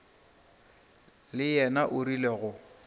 le yena o rile go